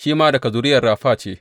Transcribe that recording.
Shi ma daga zuriyar Rafa ce.